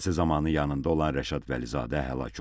Hadisə zamanı yanında olan Rəşad Vəlizadə həlak olub.